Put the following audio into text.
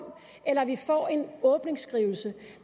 eller at vi får en åbningsskrivelse